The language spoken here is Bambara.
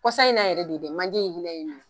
Kɔsa in na yɛrɛ de dɛ manje in hinɛ ye n minɛ